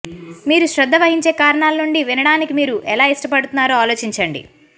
మీరు శ్రద్ధ వహించే కారణాల నుండి వినడానికి మీరు ఎలా ఇష్టపడుతున్నారో ఆలోచించండి